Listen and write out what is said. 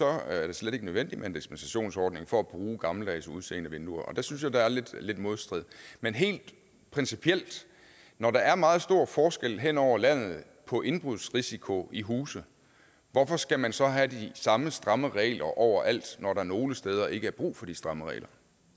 er det slet ikke nødvendigt med en dispensationsordning for at bruge gammeldags udseende vinduer der synes jeg der er lidt modstrid men helt principielt når der er meget stor forskel hen over landet på indbrudsrisiko i huse hvorfor skal man så have de samme stramme regler overalt når der nogle steder ikke er brug for de stramme regler